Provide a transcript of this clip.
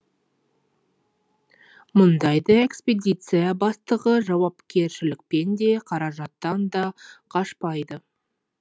мұндайда экспедиция бастығы жауапкершілікпен де қаражаттан да қашпайды